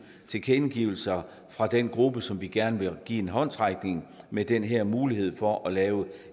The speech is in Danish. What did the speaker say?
tilkendegivelser fra den gruppe som vi gerne vil give en håndsrækning med den her mulighed for at lave